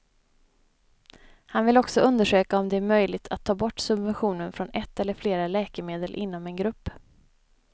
Han vill också undersöka om det är möjligt att ta bort subventionen från ett eller flera läkemedel inom en grupp.